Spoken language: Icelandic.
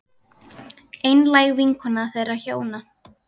Einlæg vinkona þeirra hjóna.